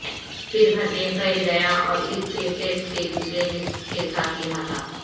پھر بھرنے پھیل گیا اور اس کے ٹیسٹ کے دوسرے نصف کے ساتھ احاطہ